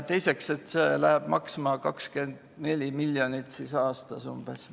Teiseks, see läheb maksma umbes 24 miljonit aastas.